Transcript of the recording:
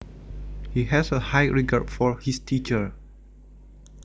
He has a high regard for his teacher